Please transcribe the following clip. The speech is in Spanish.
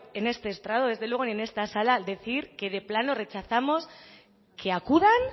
en este estrado ni desde luego en esta sala decir que de plano rechazamos que acudan